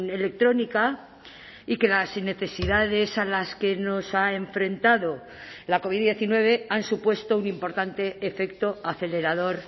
electrónica y que las necesidades a las que nos ha enfrentado la covid diecinueve han supuesto un importante efecto acelerador